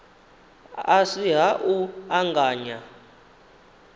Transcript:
a si ha u anganya